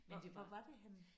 Hvor hvor var det henne?